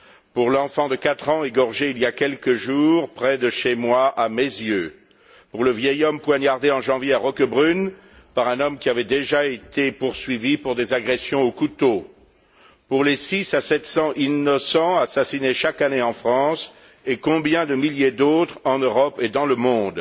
pour l'enfant de quatre ans égorgé il y a quelques jours près de chez moi, à Meyzieu, pour le vieil homme poignardé en janvier à Roquebrune par un homme qui avait déjà été poursuivi pour des agressions au couteau, pour les six à sept cents innocents assassinés chaque année en France et combien de milliers d'autres en Europe et dans le monde,